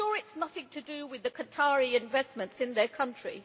I am sure it is nothing to do with the Qatari investments in their country.